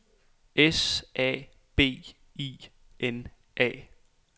S A B I N A